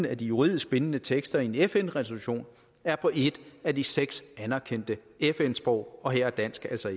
at de juridisk bindende tekster i en fn resolution er på et af de seks anerkendte fn sprog og her er dansk altså